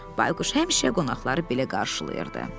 Bayquş həmişə qonaqları belə qarşılayırdı.